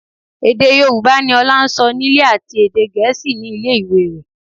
Èdè Yorùbá ni Ọlá ń sọ nílé àti èdè Gẹ̀ẹ́sì ní ilé ìwé rẹ̀